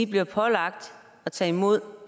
bliver pålagt at tage imod